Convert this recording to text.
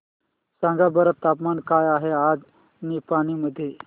सांगा बरं तापमान काय आहे आज निपाणी मध्ये